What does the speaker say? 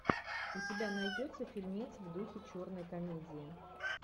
у тебя найдется фильмец в духе черной комедии